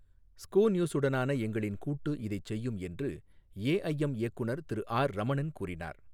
ஸ்கூநியூசுடனான எங்களின் கூட்டு இதை செய்யும், என்று எஐஎம் இயக்குநர் திரு ஆர் ரமணன் கூறினார்.